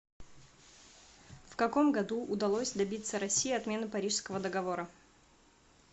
в каком году удалось добиться россии отмены парижского договора